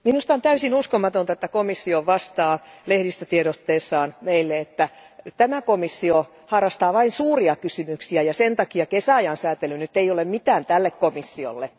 Arvoisa puhemies, minusta on täysin uskomatonta, että komissio vastaa lehdistötiedotteessaan meille, että tämä komissio harrastaa vain suuria kysymyksiä ja sen takia kesäajan sääntely ei ole mitään tälle komissiolle.